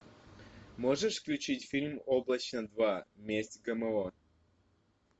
можешь включить фильм облачно два месть гмо